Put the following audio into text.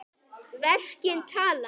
Verkin tala.